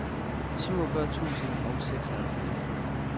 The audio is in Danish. syvogfyrre tusind og seksoghalvfjerds